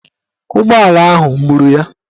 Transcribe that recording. Ụgbọala ahụ gburu ya.